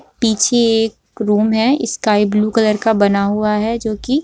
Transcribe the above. पीछे एक रूम है स्काई ब्लू कलर का बना हुआ है जो की --